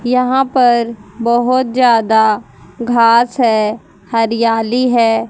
यहा पर बहोत ज्यादा घास है हरियाली है।